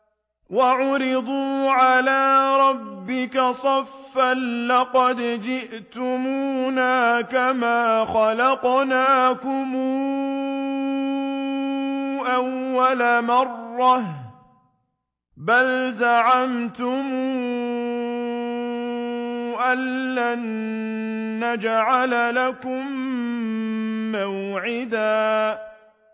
وَعُرِضُوا عَلَىٰ رَبِّكَ صَفًّا لَّقَدْ جِئْتُمُونَا كَمَا خَلَقْنَاكُمْ أَوَّلَ مَرَّةٍ ۚ بَلْ زَعَمْتُمْ أَلَّن نَّجْعَلَ لَكُم مَّوْعِدًا